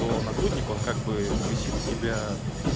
то нагрудник он как бы висит у тебя